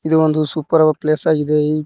ಇದು ಒಂದು super place ಆಗಿದೆ.